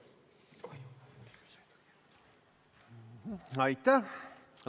Aitäh!